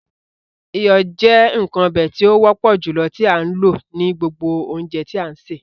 Iyọ jẹ̀ nkan ọ̀bẹ̀ tí o wọpọ̀ julọ tó a lọ ní gbogbo ọ̀unjẹ̀ tí a n ṣẹ.